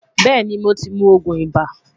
Beeni mo ti mu oogun iba